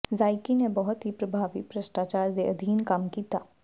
ਜ਼ਾਕਈ ਨੇ ਬਹੁਤ ਹੀ ਪ੍ਰਭਾਵੀ ਭ੍ਰਿਸ਼ਟਾਚਾਰ ਦੇ ਅਧੀਨ ਕੰਮ ਕੀਤਾ